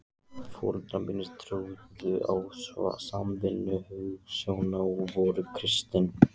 Foreldrar mínir trúðu á samvinnu- hugsjónina og voru kristnir.